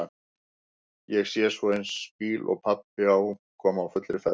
Ég sé svo eins bíl og pabbi á koma á fullri ferð.